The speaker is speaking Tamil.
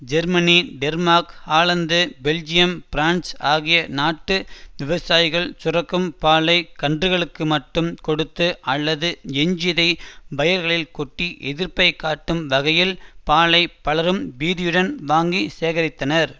Germany Denmark Holland Belgium France ஆகிய நாட்டு விவசாயிகள் சுரக்கும் பாலை கன்றுகளுக்கு மட்டும் கொடுத்து அல்லது எஞ்சியதை வயல்களில் கொட்டி எதிர்ப்பை காட்டும் வகையில் பாலை பலரும் பீதியுடன் வாங்கி சேகரித்தனர்